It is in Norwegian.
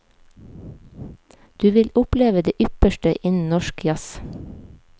Du vil oppleve det ypperste innen norsk jazz.